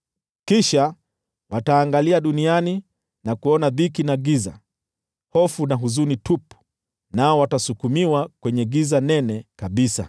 Kisha wataangalia duniani na kuona tu dhiki na giza, hofu na huzuni tupu, nao watasukumiwa kwenye giza nene kabisa.